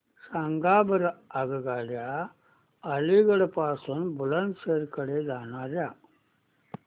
सांगा बरं आगगाड्या अलिगढ पासून बुलंदशहर कडे जाणाऱ्या